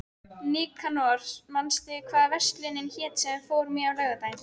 Nikanor, manstu hvað verslunin hét sem við fórum í á laugardaginn?